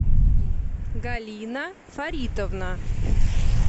галина фаритовна